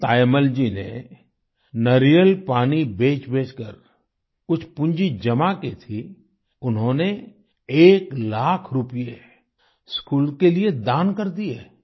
जिन तायम्मल जी ने नारियल पानी बेचबेचकर कुछ पूंजी जमा की थी उन्होंने एक लाख रुपये स्कूल के लिए दान कर दिए